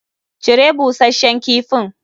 Cire busashshen kifin!